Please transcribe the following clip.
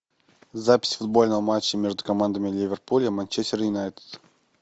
запись футбольного матча между командами ливерпуль и манчестер юнайтед